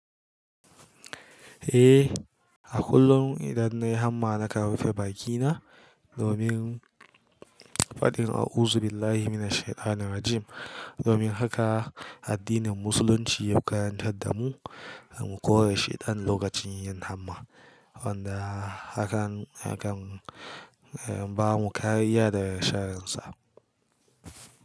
Eh, a kullum idan na yi hamma na kan rufe bakina domin faɗin “A’uzu billahi mina shaytanir rajim” domin haka addinin Musulunci ya karantar da mu mu kore shaiɗan lokacin yin hamma, wanda hakan, hakan yakan bamu kariya daga sharrinsa.